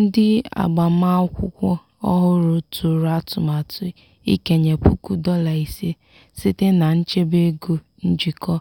ndị agbamakwụkwọ ọhụrụ tụrụ atụmatụ ikenye puku dọla ise site na nchebe ego njikọ